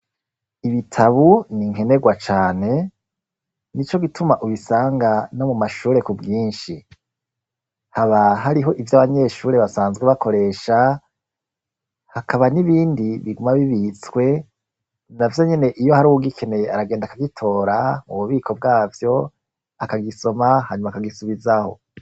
Ibitabu ni nkenegwa cane, ni co gituma ubisanga no mu mashure ku bwinshi. Haba hariho ivyo abanyeshure basanzwe bakoresha, hakaba n'ibindi biguma bibitswe, na vyo nyene iyo hari uwugikeneye aragenda akagitora mu bubiko bwavyo, akagisoma hanyuma akagisubizaho.